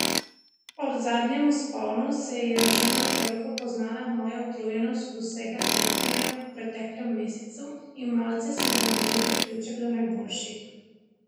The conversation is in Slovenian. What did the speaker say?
Ob zadnjem vzponu se je že nekoliko poznala moja utrujenost od vsega dirkanja v preteklem mesecu in malce sem zamudil priključek do najboljših.